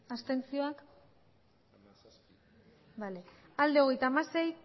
abstentzioa hogeita hamasei